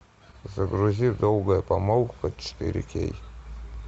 загрузи долгая помолвка четыре кей